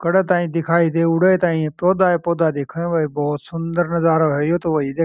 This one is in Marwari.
जड़े ताई दिखाई दे उड़े ताई पौधा ही पौधा दिखे भाई बहुत सुन्दर नज़ारो है।